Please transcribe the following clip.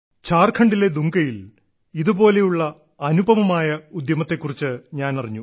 ഝാർഖണ്ഡിലെ ദുംകയിൽ ഇതുപോലെയുള്ള അനുപമമായ ഉദ്യമത്തെ കുറിച്ച് ഞാനറിഞ്ഞു